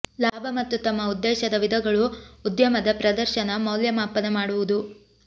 ಲಾಭ ಮತ್ತು ತಮ್ಮ ಉದ್ದೇಶದ ವಿಧಗಳು ಉದ್ಯಮದ ಪ್ರದರ್ಶನ ಮೌಲ್ಯಮಾಪನ ಮಾಡುವುದು